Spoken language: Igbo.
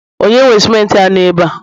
onye nwe simenti a no ebe a?